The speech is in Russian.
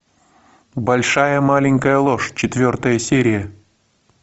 большая маленькая ложь четвертая серия